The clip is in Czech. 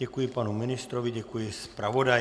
Děkuji panu ministrovi, děkuji zpravodaji.